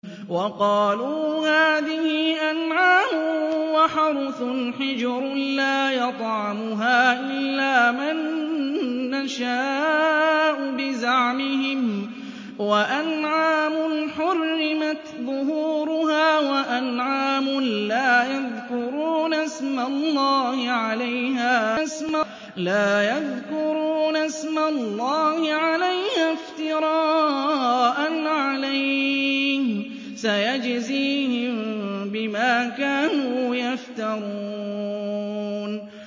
وَقَالُوا هَٰذِهِ أَنْعَامٌ وَحَرْثٌ حِجْرٌ لَّا يَطْعَمُهَا إِلَّا مَن نَّشَاءُ بِزَعْمِهِمْ وَأَنْعَامٌ حُرِّمَتْ ظُهُورُهَا وَأَنْعَامٌ لَّا يَذْكُرُونَ اسْمَ اللَّهِ عَلَيْهَا افْتِرَاءً عَلَيْهِ ۚ سَيَجْزِيهِم بِمَا كَانُوا يَفْتَرُونَ